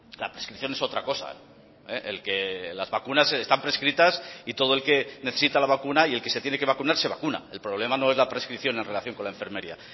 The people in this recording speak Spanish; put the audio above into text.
la prescripción es otra cosa el que las vacunas están prescritas y todo el que necesita la vacuna y el que se tiene que vacunar se vacuna el problema no es la prescripción en relación con la enfermería